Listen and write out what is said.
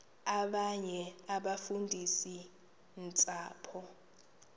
abanye abafundisi ntshapo